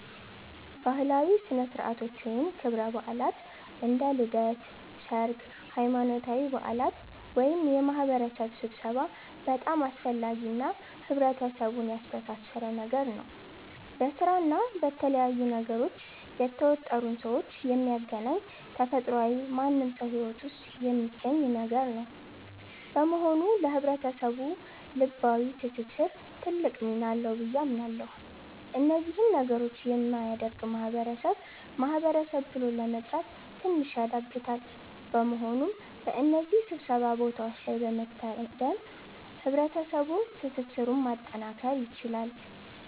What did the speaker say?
ባህላዊ ሥነ ሥርዓቶች ወይም ክብረ በዓላት (እንደ ልደት፣ ሠርግ፣ ሃይማኖታዊ በዓላት )ወይም የማህበረሰብ ስብሠባ በጣም አስፈላጊ እና ህብረተሰቡን ያስተሣሠረ ነገር ነው። በስራ እና በተለያዩ ነገሮች የተወጠሩን ሠዎች የሚያገናኝ ተፈጥሯዊ ማንም ሠው ሂወት ውስጥ የሚገኝ ነገር ነው። በመሆኑ ለህብረተሰቡ ልባዊ ትስስር ትልቅ ሚና አለው ብዬ አምናለሁ። እነዚህ ነገሮች የሚያደርግ ማህበረሰብ ማህበረሰብ ብሎ ለመጥራት ትንሽ ያዳግታል። በመሆኑም በእነዚህ ሥብሰባ ቦታዎች ላይ በመታደም ህብረሠባዋ ትስስርን ማጠናከር ይቻላል።